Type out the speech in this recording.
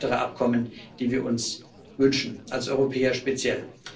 Es gibt weitere Abkommen, die wir uns wünschen, als Europäer speziell.